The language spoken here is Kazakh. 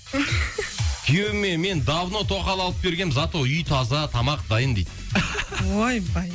күйеуіме мен давно тоқал алып бергенмін зато үй таза тамақ дайын дейді ойбай